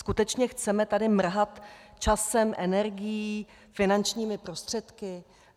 Skutečně chceme tady mrhat časem, energií, finančními prostředky?